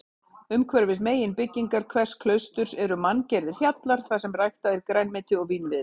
Umhverfis meginbyggingar hvers klausturs eru manngerðir hjallar þarsem ræktað er grænmeti og vínviður.